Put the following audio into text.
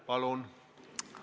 Palun!